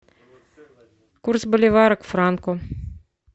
курс боливара к франку